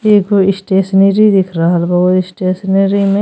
एगो स्टेशनरी दिख रहल बा उ स्टेशनरी में --